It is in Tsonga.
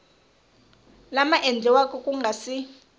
lama endliweke ku nga si